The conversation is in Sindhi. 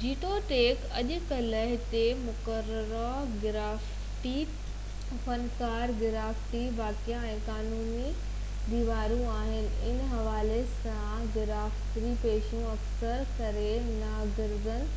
جيتوڻيڪ اڄڪلهه هتي مقرره گرافِٽي فنڪار گرافِٽي واقعا ۽ قانوني ديوارون آهن ان حوالي سان گرافِٽي پينٽنگون اڪثر ڪري ناگزير